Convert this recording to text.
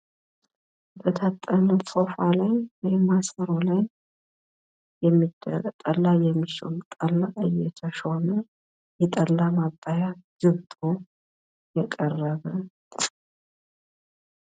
በታጠነ ቶፋ ላይ ወይም ማሰሮ ላይየመሾም ጠላ እየቶሾመ የጠላ ማጣያ ግብጦ የቀረበ